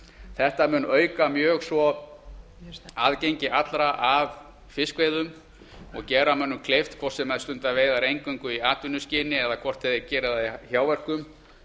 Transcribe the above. þetta mun auka mjög aðgengi allra að fiskveiðum og gera mönnum kleift hvort sem þeir stunda veiðar eingöngu í atvinnuskyni eða hvort þeir gera það í hjáverkum